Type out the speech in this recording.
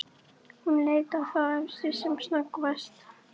Hún leit á þá efstu sem snöggvast.